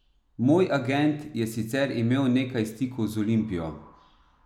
Moj agent je sicer imel nekaj stikov z Olimpijo.